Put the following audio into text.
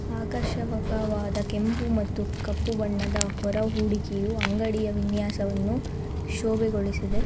ಆಕರ್ಷಕವಾದ ಕೆಂಪು ಮತ್ತು ಕಪ್ಪು ಬಣ್ಣದ ಹೊರಹೂಡಿಕೆಯು ಅಂಗಡಿಯ ವಿನ್ಯಾಸವನ್ನು ಶೋಭೆಗೊಳಿಸಿದೆ.